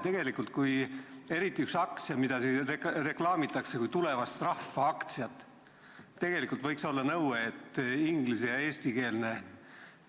Näiteks, kui üht aktsiat reklaamitakse kui tulevast rahvaaktsiat, siis tegelikult võiks olla nõue, et inglis- ja eestikeelne